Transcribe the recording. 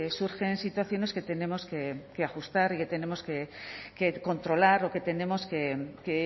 surgen situaciones que tenemos que ajustar y que tenemos que controlar o que tenemos que